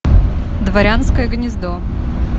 дворянское гнездо